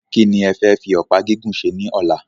Kí ni e fe fi ọ̀pá gígùn ṣe ní ọ̀la?